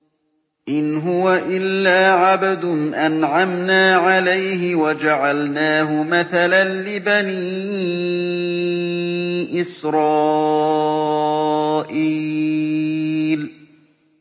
إِنْ هُوَ إِلَّا عَبْدٌ أَنْعَمْنَا عَلَيْهِ وَجَعَلْنَاهُ مَثَلًا لِّبَنِي إِسْرَائِيلَ